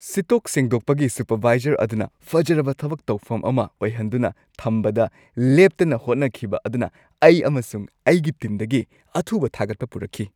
ꯁꯤꯠꯇꯣꯛ-ꯁꯦꯡꯗꯣꯛꯄꯒꯤ supervisor ꯑꯗꯨꯅ ꯐꯖꯔꯕ ꯊꯕꯛ ꯇꯧꯐꯝ ꯑꯃ ꯑꯣꯏꯍꯟꯗꯨꯅ ꯊꯝꯕꯗ ꯂꯦꯞꯇꯅ ꯍꯣꯠꯅꯈꯤꯕ ꯑꯗꯨꯅ ꯑꯩ ꯑꯃꯁꯨꯡ ꯑꯩꯒꯤ ꯇꯤꯝꯗꯒꯤ ꯑꯊꯨꯕ ꯊꯥꯒꯠꯄ ꯄꯨꯔꯛꯈꯤ꯫